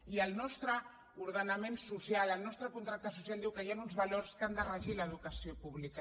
i el nostre ordenament social el nostre contracte social diu que hi han uns valors que han de regir l’educació pública